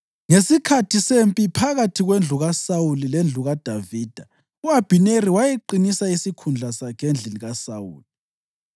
Ngesikhathi sempi phakathi kwendlu kaSawuli lendlu kaDavida, u-Abhineri wayeqinisa isikhundla sakhe endlini kaSawuli.